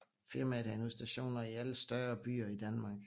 Firmaet havde nu stationer i alle større byer i Danmark